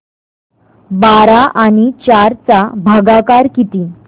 बारा आणि चार चा भागाकर किती